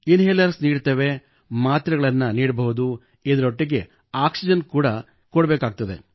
ಇನ್ ಹೇಲರ್ಸ್ ನೀಡುತ್ತೇವೆ ಮಾತ್ರೆಗಳನ್ನು ನೀಡಬಹುದು ಇದರೊಟ್ಟಿಗೆ ಆಕ್ಸಿಜೆನ್ ಕೂಡ ಕೊಡಬೇಕಾಗುತ್ತದೆ